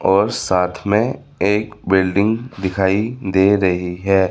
और साथ में एक बिल्डिंग दिखाई दे रही है।